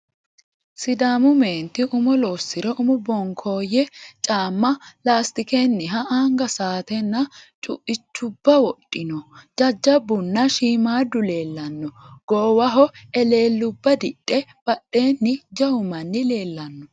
Sidaamu meenti umo loosire umo bonkooyye caamma laastikenniha anga sa"aatenna cuuichubba wodhino. Jajjabbunna shiimaadda leellanno. Goowaho eleellubba didhe badheenni jawu manni leellanno.